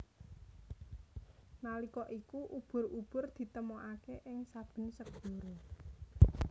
Nalika iku ubur ubur ditemokaké ing saben segara